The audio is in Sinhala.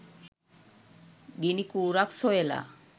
ගිනිකූරක් සොයලා